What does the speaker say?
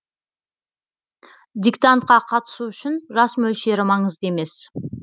диктантқа қатысу үшін жас мөлшері маңызды емес